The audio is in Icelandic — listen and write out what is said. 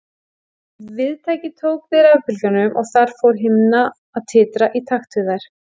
Viðtækið tók við rafbylgjunum og þar fór himna að titra í takt við þær.